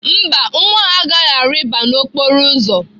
Mba, nwa ahụ agaghị arịba n'okporo ụzọ.